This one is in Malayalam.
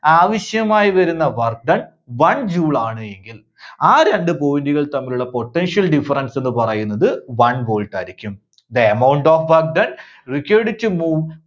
ആവശ്യമായി വരുന്ന work done, one joule ആണ് എങ്കിൽ ആ രണ്ട് point കൾ തമ്മിലുള്ള potential difference എന്ന് പറയുന്നത് one volt ആയിരിക്കും. the amount of work done required to move